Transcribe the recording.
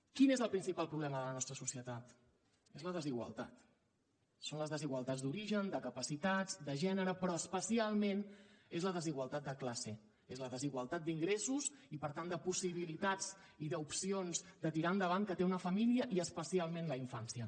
quin és el principal problema de la nostra societat és la desigualtat són les desigualtats d’origen de capacitats de gènere però especialment és la desigualtat de classe és la desigualtat d’ingressos i per tant de possibilitats i d’opcions de tirar endavant que té una família i especialment la infància